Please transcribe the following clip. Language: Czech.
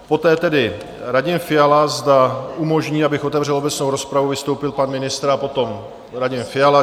Poté tedy Radim Fiala, zda umožní, abych otevřel obecnou rozpravu, vystoupil pan ministr a potom Radim Fiala?